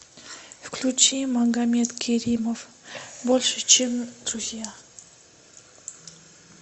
включи магомед керимов больше чем друзья